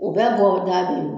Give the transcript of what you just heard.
O bɛ bɔgɔ da be ye